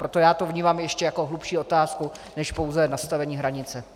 Proto já to vnímám ještě jako hlubší otázku než pouze nastavení hranice.